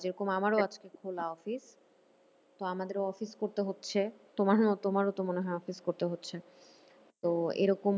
যেরকম আমারও আজকে খোলা অফিস। তো আমাদেরও অফিস করতে হচ্ছে তোমারও তোমারও তো মনে হয় অফিস করতে হচ্ছে। তো এরকম